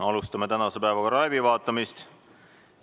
Alustame tänase päevakorra läbivaatamist.